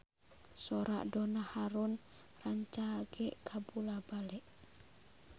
Sora Donna Harun rancage kabula-bale